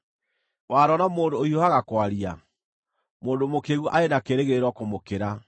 Wanona mũndũ ũhiũhaga kwaria? Mũndũ mũkĩĩgu arĩ na kĩĩrĩgĩrĩro kũmũkĩra.